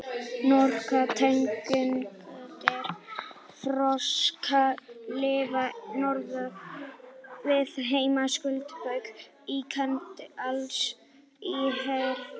Nokkrar tegundir froska lifa norðan við heimskautsbaug, í Kanada, Alaska og Síberíu.